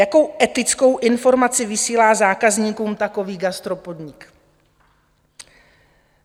Jakou etickou informaci vysílá zákazníkům takový gastropodnik?